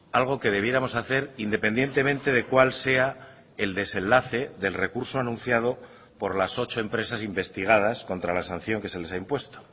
algo que debiéramos hacer independientemente de cuál sea el desenlace del recurso anunciado por las ocho empresas investigadas contra la sanción que se les ha impuesto